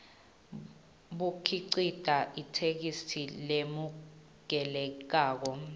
bukhicite itheksthi lemukelekako